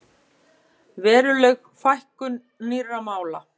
Veruleg fækkun nýrra mála